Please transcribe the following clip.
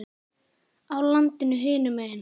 á landinu hinum megin.